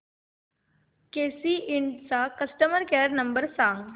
केसी इंड चा customer care number सांग